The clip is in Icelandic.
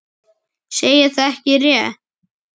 Segja það ekki rétt.